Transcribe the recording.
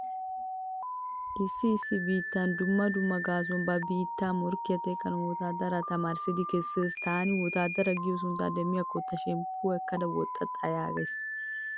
Issi issi biittay dumma dumma gaasuwan ba biittaa morkkiya teqqanawu wotaadaraa tamaarissidi kessees. Taani wotaadara giyo sunttaa demmikko ta shemppiyo ekkada woxxa xayaaggays.